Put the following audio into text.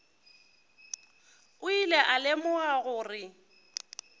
o ile a lemoga gore